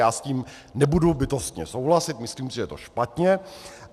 Já s tím nebudu bytostně souhlasit, myslím si, že je to špatně.